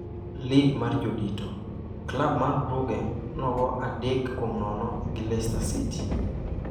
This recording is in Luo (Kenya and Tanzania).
Lig mar jodito: Klab mar Brugge 0-3 Leicester City